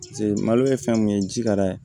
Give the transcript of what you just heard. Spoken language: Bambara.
malo ye fɛn mun ye ji ka d'a ye